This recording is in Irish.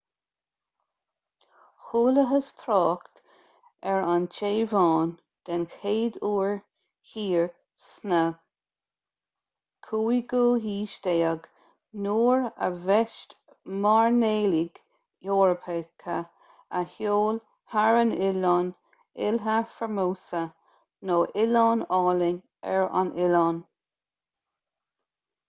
chualathas trácht ar an téaváin den chéad uair thiar sa 15ú haois nuair a bhaist mairnéalaigh eorpacha a sheol thar an oileán ilha formosa nó oileán álainn ar an oileán